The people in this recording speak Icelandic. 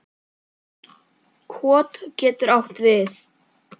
Kot getur átt við